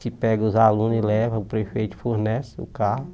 Que pega os alunos e leva, o prefeito fornece o carro.